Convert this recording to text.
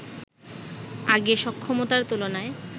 আগে সক্ষমতার তুলনায়